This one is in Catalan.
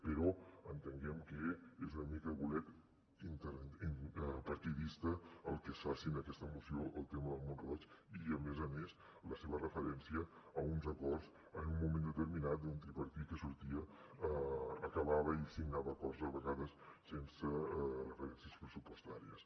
però entenguem que és una mica de bolet partidista el que es faci en aquesta moció el tema de mont roig i a més a més la seva referència a uns acords en un moment determinat d’un tripartit que sortia acabava i signava acords a vegades sense referències pressupostàries